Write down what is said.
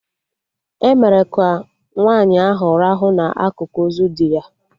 E mere ka nwaanyị ahụ rahụ na akụkụ ozu di ya